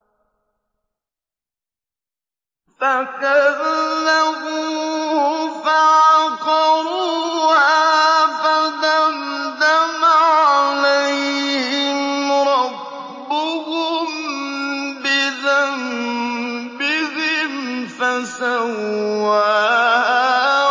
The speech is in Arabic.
فَكَذَّبُوهُ فَعَقَرُوهَا فَدَمْدَمَ عَلَيْهِمْ رَبُّهُم بِذَنبِهِمْ فَسَوَّاهَا